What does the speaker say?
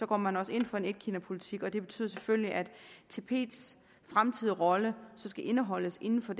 går man også ind for en etkinapolitik og det betyder selvfølgelig at tibets fremtidige rolle skal indeholdes inden for